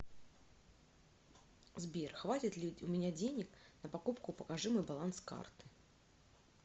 сбер хватит ли у меня денег на покупку покажи мой баланс карты